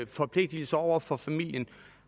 forpligtelser over for familien